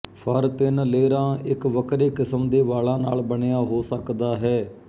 ਫਰ ਤਿੰਨ ਲੇਅਰਾਂ ਇੱਕ ਵੱਖਰੇ ਕਿਸਮ ਦੇ ਵਾਲਾਂ ਨਾਲ ਬਣਿਆ ਹੋ ਸਕਦਾ ਹੈ